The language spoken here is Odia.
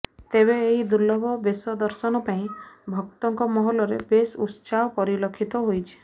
ତେବେ ଏହି ଦୁର୍ଲଭ ବେଶ ଦର୍ଶନ ପାଇଁ ଭକ୍ତଙ୍କ ମହଲରେ ବେଶ୍ ଉତ୍ସାହ ପରିଲକ୍ଷିତ ହୋଇଛି